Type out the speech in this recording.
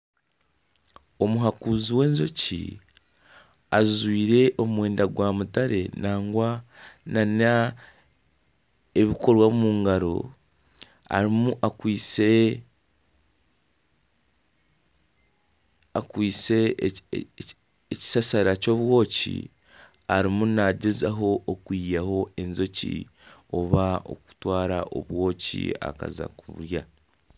Omuhakuzi w'enjoki ajwire omwenda gwa mutare nagwa nana ebikoreso omu ngaro erimu akwitse ekishashara ky'obwoki arimu naagyezaho okwihamu enjoki oba okututwara obwoki akaza kuburya